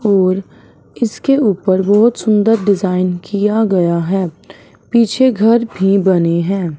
और इसके ऊपर बहोत सुंदर डिजाइन किया गया है पीछे घर भी बने हैं।